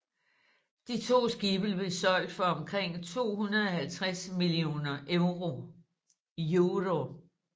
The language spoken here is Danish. De to skibe blev solgt for omkring 250 millioner euro